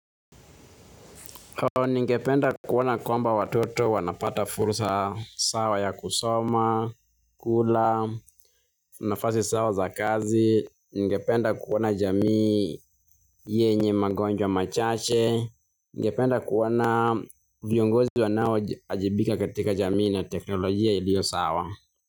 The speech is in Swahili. Ningependa kuona kwamba watoto wanapata fursa sawa ya kusoma, kula, nafasi sawa za kazi. Ningependa kuona jamii yenye magonjwa machache. Ningependa kuona viongozi wanaowajibika katika jamii na teknolojia ilio sawa.